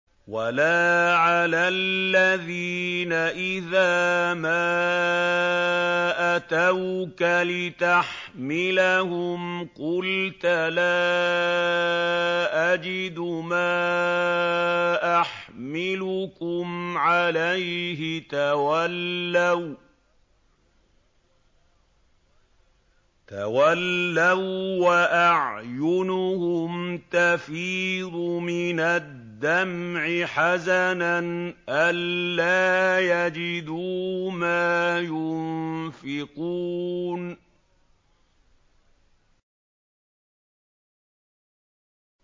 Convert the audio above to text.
وَلَا عَلَى الَّذِينَ إِذَا مَا أَتَوْكَ لِتَحْمِلَهُمْ قُلْتَ لَا أَجِدُ مَا أَحْمِلُكُمْ عَلَيْهِ تَوَلَّوا وَّأَعْيُنُهُمْ تَفِيضُ مِنَ الدَّمْعِ حَزَنًا أَلَّا يَجِدُوا مَا يُنفِقُونَ